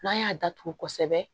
N'an y'a datugu kosɛbɛ